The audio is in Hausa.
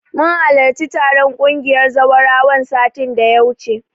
Mun halarci taron ƙungiyar zawarawan, satin da ya wuce.